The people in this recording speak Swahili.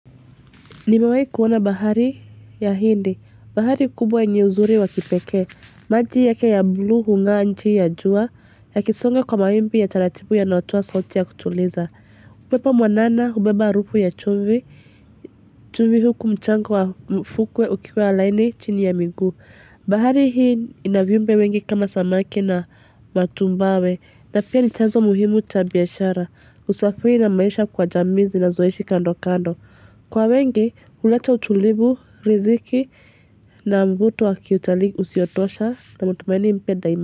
Nimewayi kuona bahari ya hindi. Bahari kubwa yenye uzuri wa kipeke. Maji yake ya bluu hungaa nchi ya jua yakisonga kwa mawimbi ya taratipu yanaotoa sauti ya kutuliza. Upepo mwanana ubeba arufu ya chumvi. Chumvi huku mchango wa mfukwe ukiwa laini chini ya miguu. Bahari hii inaviumbe wengi kama samaki na matumbawe. Na pia ni chanzo muhimu ya biashara. Usafi na maisha kwa jami zinazoishi kando kando. Kwa wengi uleta utulivu, riziki na mvuto wakiutalii usiotosha na mutumaini mpya daima.